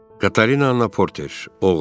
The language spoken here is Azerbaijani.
Katerina Anna Porter, oğru.